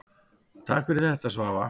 Takk fyrir þetta Svava.